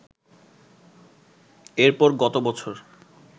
এরপর গত বছর